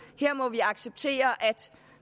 her må vi acceptere at